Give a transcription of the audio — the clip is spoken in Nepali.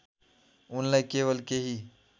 उनलाई केवल केही